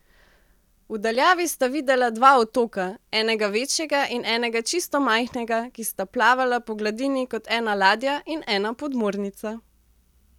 V daljavi sta videla dva otoka, enega večjega in enega čisto majhnega, ki sta plavala po gladini kot ena ladja in ena podmornica.